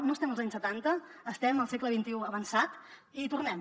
no estem als anys setanta estem al segle xxi avançat i hi tornem